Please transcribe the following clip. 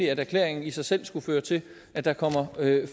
at erklæringen i sig selv skulle føre til at der kom